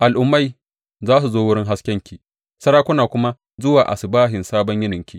Al’ummai za su zo wurin haskenki, sarakuna kuma zuwa asubahin sabon yininki.